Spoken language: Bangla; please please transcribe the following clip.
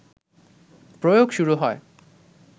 প্রয়োগ শুরু হয়